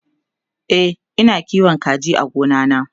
e Ina kiwon kaji a gona na